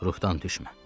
Ruhdan düşmə.